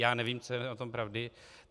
Já nevím, co je na tom pravdy.